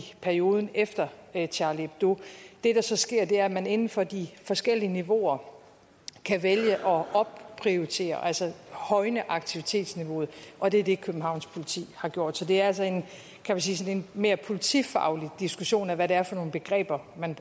perioden efter charlie hebdo det der så sker er at man inden for de forskellige niveauer kan vælge at opprioritere altså højne aktivitetsniveauet og det er det københavns politi har gjort så det er altså en mere politifaglig diskussion af hvad det er for nogle begreber man